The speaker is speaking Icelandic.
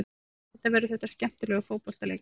Auðvitað verður þetta skemmtilegur fótboltaleikur.